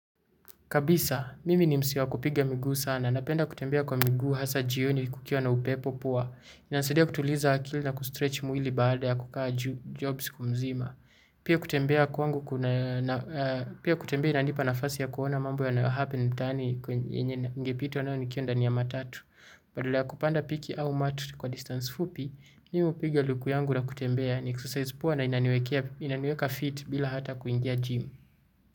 Kabisa, mimi ni mse wa kupiga miguu sana. Napenda kutembea kwa miguu hasa jioni kukiwa na upepo poa. Inanisaidia kutuliza akili na kustretch mwili baada ya kukaa job siku mzima. Pia kutembea kwa wangu kuna, pia kutembea inanipa nafasi ya kuona mambo yanayo happen mtaani yenye ningepitwa nayo nikiwa ndani ya matatu. Badala kupanda piki au mat kwa distance fupi, mi hupiga luku yangu na kutembea ni exercise poa na inaniweka fit bila hata kuingia gym.